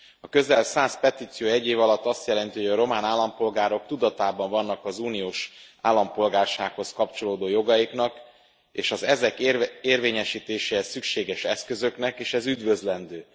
A közel száz petíció egy év alatt azt jelenti, hogy a román állampolgárok tudatában vannak az uniós állampolgársághoz kapcsolódó jogaiknak és az ezek érvényesítéséhez szükséges eszközöknek, és ez üdvözlendő.